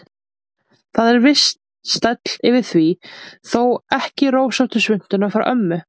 Það er viss stæll yfir því, þó ekki rósóttu svuntuna frá ömmu.